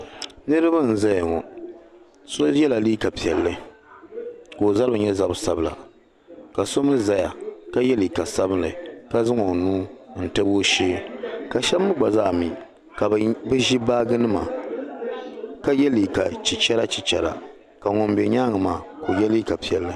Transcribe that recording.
Niriba n zaya ka so yɛ liga piɛlli ka mali zabi sabila, ka so mi gba liga chicherigu zaya, ka so yi liga piɛlli n za bɛ nyaaŋga.